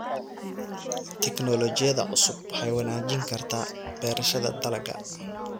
Tignoolajiyada cusubi waxay wanaajin kartaa beerashada dalagga.